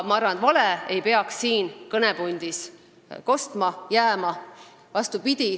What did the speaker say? Ma arvan, et vale ei peaks siin kõnepuldis kostma jääma.